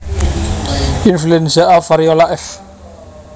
Influenza e Variola f